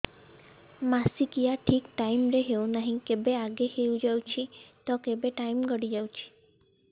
ମାସିକିଆ ଠିକ ଟାଇମ ରେ ହେଉନାହଁ କେବେ ଆଗେ ହେଇଯାଉଛି ତ କେବେ ଟାଇମ ଗଡି ଯାଉଛି